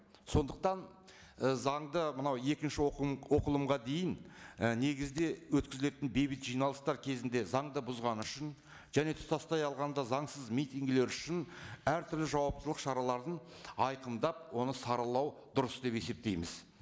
сондықтан і заңды мына екінші оқылым оқылымға дейін і негізде өткізілетін бейбіт жиналыстар кезінде заңды бұзғаны үшін және тұтастай алғанда заңсыз митингілер үшін әртүрлі жауаптылық шараларын айқындап оны саралау дұрыс деп есептейтміз